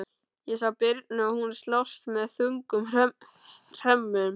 Ég sá birnu og hún slást með þungum hrömmum.